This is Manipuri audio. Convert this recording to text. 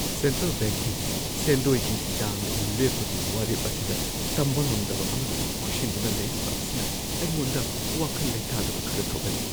ꯁꯦꯟꯇ꯭ꯔꯦꯜ ꯕꯦꯡꯛꯀꯤ ꯁꯦꯟꯗꯣꯏꯒꯤ ꯆꯥꯡ ꯂꯦꯞꯄꯒꯤ ꯋꯥꯔꯦꯞ ꯑꯁꯤꯗ ꯇꯝꯕ ꯉꯝꯗꯕ ꯑꯃꯅ ꯀꯣꯏꯁꯤꯟꯗꯨꯅ ꯂꯩꯔꯤꯕ ꯑꯁꯤꯅ ꯑꯩꯉꯣꯟꯗ ꯋꯥꯈꯜ ꯂꯩꯇꯥꯗꯕ ꯈꯔ ꯊꯣꯛꯍꯜꯂꯤ꯫